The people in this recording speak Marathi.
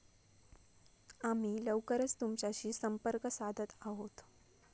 आम्ही लवकरच तुमच्याशी संपर्क साधत आहोत.